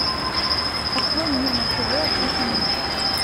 открой мне на тв открытый мир